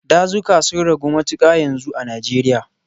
Dazuka sun ragu matuƙa yanzu a Nijeriya.